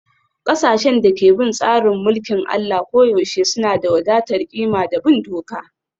Ƙasashen da ke bin tsarin mulkin Allah koyaushe suna da wadatar ƙima da bin doka